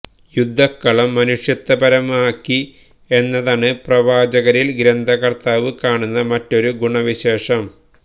യുദ്ധക്കളം മനുഷ്യത്വപരമാക്കി എന്നതാണ് പ്രവാചകരില് ഗ്രന്ഥകര്ത്താവ് കാണുന്ന മറ്റൊരു ഗുണവിശേഷം